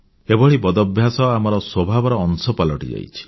ଏଭଳି ବଦଭ୍ୟାସ ଆମର ସ୍ୱଭାବର ଅଂଶ ପାଲଟିଯାଇଛି